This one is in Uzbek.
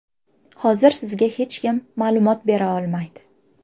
Hozir sizga hech kim ma’lumot bera olmaydi.